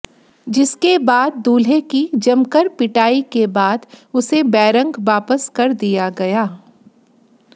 जिसके बाद दूल्हे की जमकर पिटाई के बाद उसे बैरंग वापस कर दिया गया